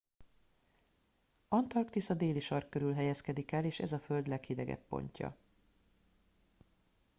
antarktisz a déli sark körül helyezkedik el és ez a föld leghidegebb pontja